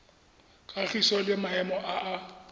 kagiso le maemo a a